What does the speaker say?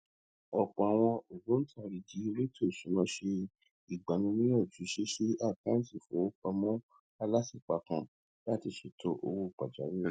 ọpọ àwọn ògbóntarìgì èlétò ìṣúná ṣe ìgbaniníyànjú ṣíṣí àkántì ìfowópamọ alátìpa kan láti lè ṣètò owó pàjáwírì